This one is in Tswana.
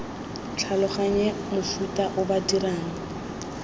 tlhaloganye mofuta o ba dirang